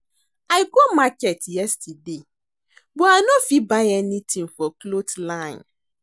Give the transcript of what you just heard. I go market yesterday but I no fit buy anything for cloth line